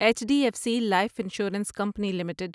H D F C life insurance company limited